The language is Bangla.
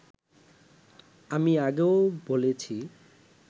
আমি আগেও বলেছি